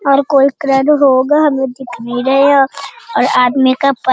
और कोई क्रेन होगा हमें दिख नहीं रहा है और आदमी का प --